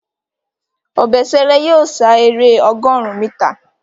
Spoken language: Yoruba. Obesere yóò sá èrè ọgọrùn mítà.